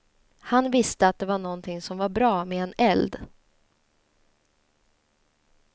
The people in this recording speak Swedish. Han visste att det var någonting som var bra med en eld.